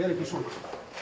ekki svona